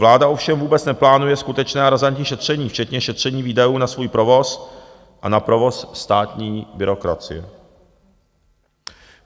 Vláda ovšem vůbec neplánuje skutečné a razantní šetření, včetně šetření výdajů na svůj provoz a na provoz státní byrokracie.